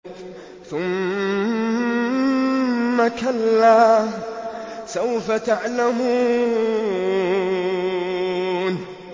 ثُمَّ كَلَّا سَوْفَ تَعْلَمُونَ